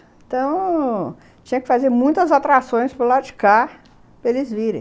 Então... tinha que fazer muitas atrações para o lado de cá para eles virem.